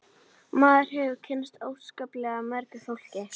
Maður hefur kynnst óskaplega mörgu fólki